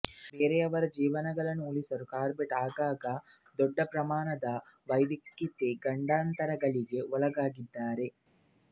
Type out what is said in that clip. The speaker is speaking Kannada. ಬೇರೆಯವರ ಜೀವಗಳನ್ನು ಉಳಿಸಲು ಕಾರ್ಬೆಟ್ ಆಗಾಗ ದೊಡ್ಡ ಪ್ರಮಾಣದ ವೈಯಕ್ತಿಕ ಗಂಡಾಂತರಗಳಿಗೆ ಒಳಗಾಗಿದ್ದಾರೆ